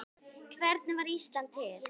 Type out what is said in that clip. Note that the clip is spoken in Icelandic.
Hvernig varð Ísland til?